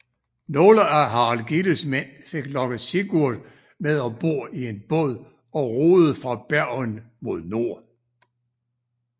Nogle af Harald Gilles mænd fik lokket Sigurd med om bord i en båd og roede fra Bergen mod nord